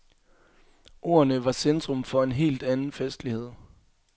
Ordene var centrum for en helt anden festlighed.